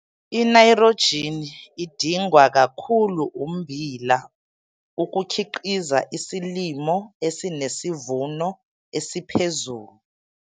Inaythrojini idingwa kakhulu ummbila ukukhiqiza isilimo esinesivuno esiphezulu.